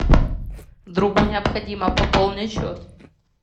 другу необходимо пополнить счет